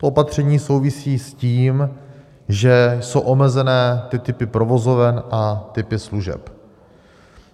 To opatření souvisí s tím, že jsou omezeny ty typy provozoven a typy služeb.